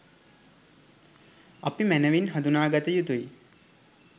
අපි මැනවින් හඳුනාගත යුතුයි.